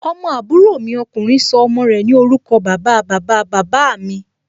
Ọmọ àbúrò mi ọkùnrin sọ ọmọ rẹ̀ ní orúkọ bàba, bàba, bàbá mí